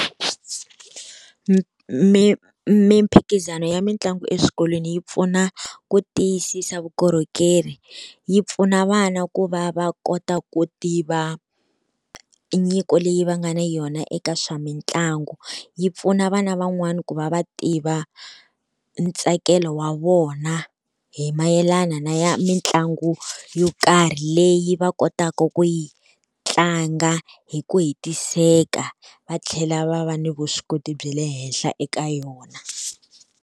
mimphikizano ya mitlangu eswikolweni yi pfuna ku tiyisisa vukorhokeri, yi pfuna vana ku va va kota ku tiva nyiko leyi va nga na yona eka swa mitlangu. Yi pfuna vana van'wani ku va va tiva ntsakelo wa vona hi mayelana na ya mitlangu yo karhi leyi va kotaka ku yi tlanga hi ku hetiseka va tlhela va va ni vuswikoti bya le henhla eka yona.